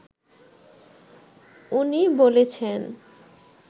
উনি বলেছেন